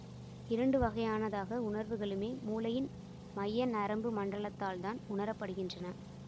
இரண்டுவகையான தாக உணர்வுகளுமே மூளையின் மைய நரம்புமண்டலத்தால்தான் உணரப்படுகின்றன